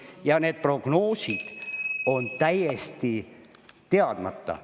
Ja need prognoosid on täiesti teadmata.